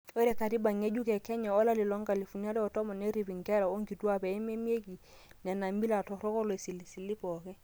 ore katiba ng'ejuk e kenya e 2010 nerip inkera onkituak pee meimarieki nena mila torrok olosilisili pooki